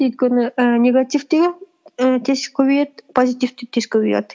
өйткені і негатив те і тез көбейеді позитив те тез көбейеді